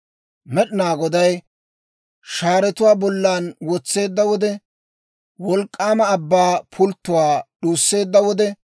Med'inaa Goday shaaretuwaa bollan wotseedda wode, wolk'k'aama abbaa pulttotuwaa d'uusseedda wode,